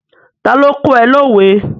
Ta ni ó kọ́ ẹ lówe?